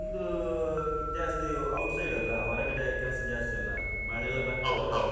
ಹಾ ನಿಮ್ದು ಇದು ಜಾಸ್ತಿ outside ಅಲ್ಲಾ ಹೊರಗಡೆ ಕೆಲಸ ಜಾಸ್ತಿ ಅಲ್ಲ ಮಳೆ ಎಲ್ಲಾ ಬಂದು.